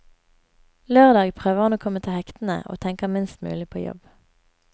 Lørdag prøver hun å komme til hektene og tenker minst mulig på jobb.